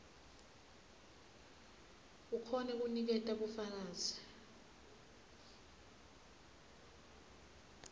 ukhone kuniketa bufakazi